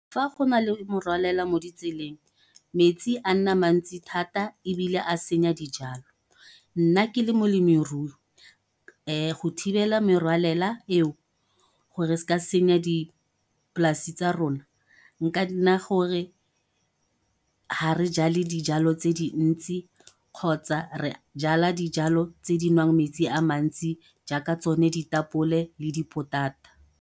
Fa go na le morwalela mo ditseleng, metsi a nna mantsi thata ebile a senya dijalo. Nna ke le molemirui, ee go thibela merwalela eo, gore e se ka senya dipolase tsa rona, nka nna gore ha re jale dijalo tse dintsi, kgotsa re jala dijalo tse di nwang metsi a mantsi jaaka tsone ditapole le dipotata.